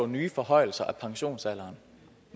nye forhøjelser af pensionsalderen